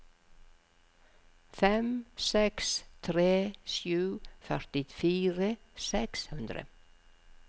fem seks tre sju førtifire seks hundre